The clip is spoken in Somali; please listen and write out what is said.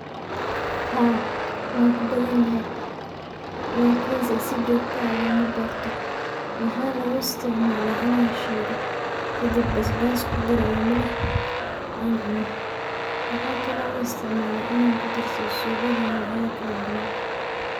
Haa wakubadan yahay lakinse sii jogto ah lomaberto waxa uisticmala in an shilo kadib basbas kudaro oo an cuno waxa kudarsada cunada kale an cuno.